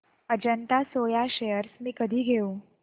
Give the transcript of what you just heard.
Ajanta soya shares मी कधी घेऊ